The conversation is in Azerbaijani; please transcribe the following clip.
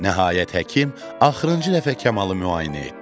Nəhayət həkim axırıncı dəfə Kamalı müayinə etdi.